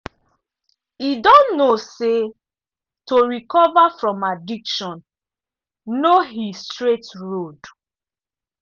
e don know say to recover from addiction no he straight road.